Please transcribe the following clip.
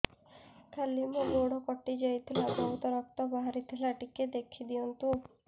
କାଲି ମୋ ଗୋଡ଼ କଟି ଯାଇଥିଲା ବହୁତ ରକ୍ତ ବାହାରି ଥିଲା ଟିକେ ଦେଖି ଦିଅନ୍ତୁ